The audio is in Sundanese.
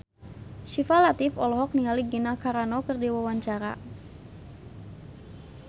Syifa Latief olohok ningali Gina Carano keur diwawancara